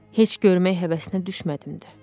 Heç görmək həvəsinə düşmədim də.